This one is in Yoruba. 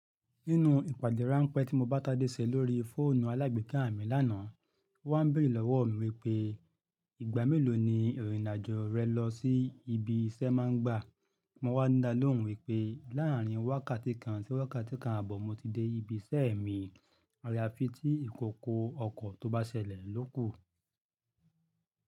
Nínú ìpàdé ráńpẹ́ tí mo bá Tádé ṣe lórí fóònù alágbèéká mi lánàá, ó wá n béèrè lọ́wọ́ mi wípé ìgbà mélòó ni ìrìnàjò rẹ lọ sí ibi iṣẹ́ má ń gbà. Mo wá n dá lóhùn wípé láàrín wákàtí kan sí wákàtí kan ààbọ̀ mo ti dé ibi iṣẹ́ mi. Àyaafí tí ìkòkò ọkọ̀ tó bá ṣẹlẹ̀ ló kù.